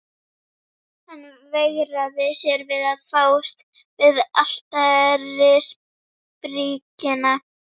Hann veigraði sér við að fást við altarisbríkina.